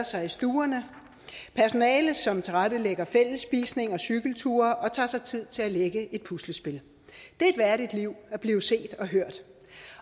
sig i stuerne personale som tilrettelægger fællesspisning og cykelture og tager sig tid til at lægge et puslespil det er et værdigt liv at blive set